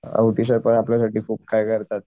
Auti sir पण आपल्या साठी खूप काही करतात.